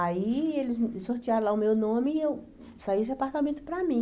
Aí eles sortearam lá o meu nome e saiu esse apartamento para mim.